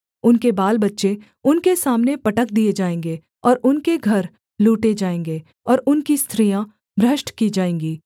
उनके बालबच्चे उनके सामने पटक दिए जाएँगे और उनके घर लूटे जाएँगे और उनकी स्त्रियाँ भ्रष्ट की जाएँगी